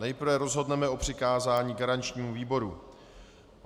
Nejprve rozhodneme o přikázání garančnímu výboru.